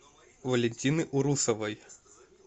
валентины урусовой